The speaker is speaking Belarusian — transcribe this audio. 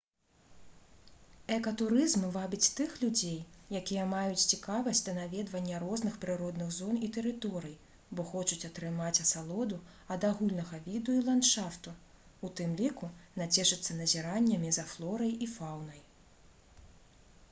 экатурызм вабіць тых людзей якія маюць цікавасць да наведвання розных прыродных зон і тэрыторый бо хочуць атрымаць асалоду ад агульнага віду і ландшафту у тым ліку нацешыцца назіраннямі за флорай і фаўнай